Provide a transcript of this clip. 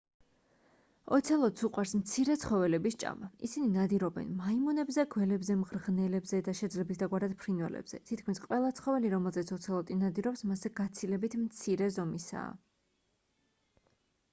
ოცელოტს უყვარს მცირე ცხოველების ჭამა ისინი ნადირობენ მაიმუნებზე გველებზე მღრღნელებზე და შეძლებისდაგვარად ფრინველებზე თითქმის ყველა ცხოველი რომელზეც ოცელოტი ნადირობს მასზე გაცილებით მცირე ზომისაა